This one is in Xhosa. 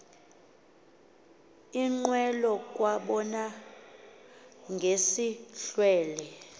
iinqwelo kwabonwa ngesihlwele